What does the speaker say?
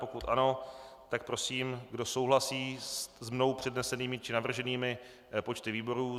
Pokud ano, tak prosím, kdo souhlasí s mnou přednesenými či navrženými počty výborů?